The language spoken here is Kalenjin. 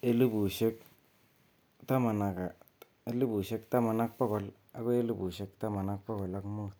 1100-1500.